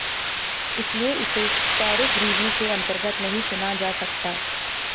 इसलिए इसे tariff review के अंतर्गत नहीं सुना जा सकता